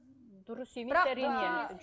дұрыс емес әрине